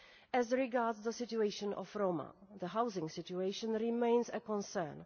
As regards the situation of Roma, the housing situation remains a concern.